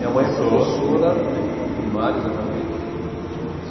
Minha mãe é professora primária, exatamente.